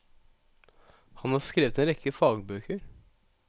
Han har skrevet en rekke fagbøker.